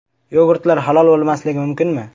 Yogurtlar halol bo‘lmasligi mumkinmi?.